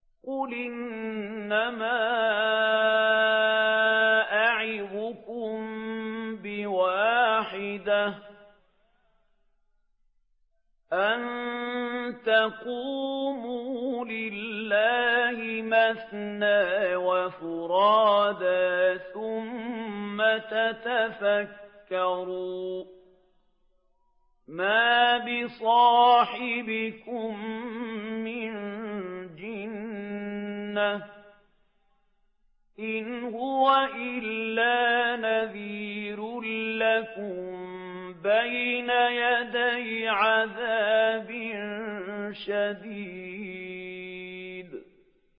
۞ قُلْ إِنَّمَا أَعِظُكُم بِوَاحِدَةٍ ۖ أَن تَقُومُوا لِلَّهِ مَثْنَىٰ وَفُرَادَىٰ ثُمَّ تَتَفَكَّرُوا ۚ مَا بِصَاحِبِكُم مِّن جِنَّةٍ ۚ إِنْ هُوَ إِلَّا نَذِيرٌ لَّكُم بَيْنَ يَدَيْ عَذَابٍ شَدِيدٍ